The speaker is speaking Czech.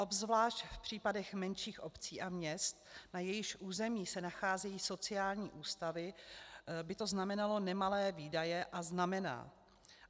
Obzvlášť v případech menších obcí a měst, na jejichž území se nacházejí sociální ústavy, by to znamenalo nemalé výdaje, a znamená.